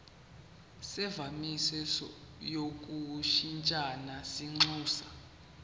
semvume yokushintshisana kwinxusa